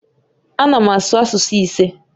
Ana m asụ asụsụ ise